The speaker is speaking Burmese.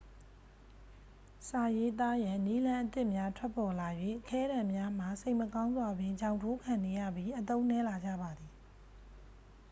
စာရေးသားရန် နည်းလမ်းအသစ်များ ထွက်ပေါ်လာ၍ ခဲတံများမှာ စိတ်မကောင်းစွာပင် ချောင်ထိုးခံနေရပြီး အသုံးနည်းလာကြပါသည်